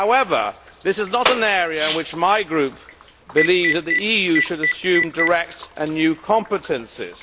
However, this is not an area in which my group believes that the EU should assume direct and new competences.